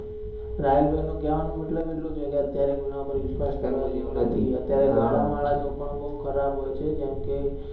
રાહુલભીનો કેવાનો મતલબ એટલો છે કે અત્યારે કોઈના પર વિશ્વાસ કરવા જેવો નથી અત્યારે ઘરડા માણસો પણ બૌ ખરાબ હોય છે જેમ કે